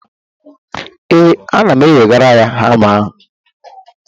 ee, ana m ewegara ya hama a